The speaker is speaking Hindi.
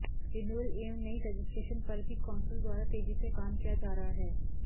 रिन्यूएवल एवं नई रजिस्ट्रेशन पर भी कौंसिल द्वारा तेजी से काम किया जा रहा है